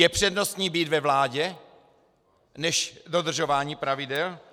Je přednostní být ve vládě než dodržování pravidel?